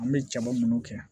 An bɛ jabɔ minnu kɛ